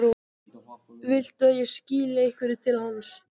Viltu að ég skili einhverju til hans?